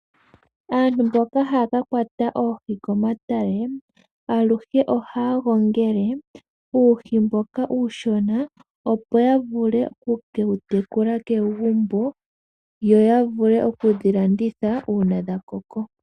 Aantu mboka haya kakwata oohi komatale aluhe ohaya gongele uuhi mboka uushona opo yavule oku wu tekula kegumbo ,yo yavule oku dhilanditha uuna dha koko.